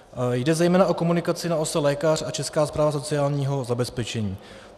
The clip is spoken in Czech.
Jde zejména o komunikaci na ose lékař a Česká správa sociálního zabezpečení.